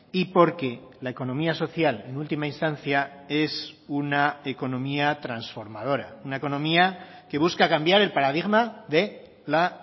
y porque la economía social en última instancia es una economía transformadora una economía que busca cambiar el paradigma de la